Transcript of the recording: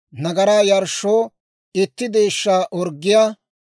nagaraa yarshshoo itti deeshshaa orggiyaa,